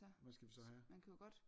Hvad skal vi så have?